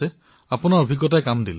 আপোনাৰ সৈতে কথা পাতি সুখী হলো